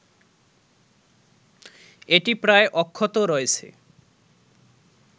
এটি প্রায় অক্ষত রয়েছে